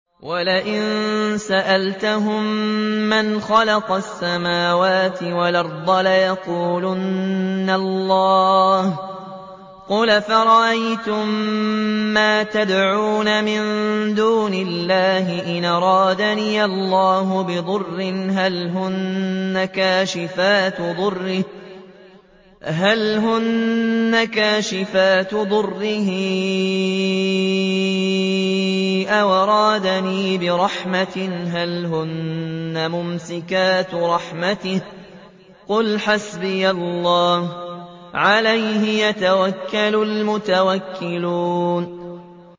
وَلَئِن سَأَلْتَهُم مَّنْ خَلَقَ السَّمَاوَاتِ وَالْأَرْضَ لَيَقُولُنَّ اللَّهُ ۚ قُلْ أَفَرَأَيْتُم مَّا تَدْعُونَ مِن دُونِ اللَّهِ إِنْ أَرَادَنِيَ اللَّهُ بِضُرٍّ هَلْ هُنَّ كَاشِفَاتُ ضُرِّهِ أَوْ أَرَادَنِي بِرَحْمَةٍ هَلْ هُنَّ مُمْسِكَاتُ رَحْمَتِهِ ۚ قُلْ حَسْبِيَ اللَّهُ ۖ عَلَيْهِ يَتَوَكَّلُ الْمُتَوَكِّلُونَ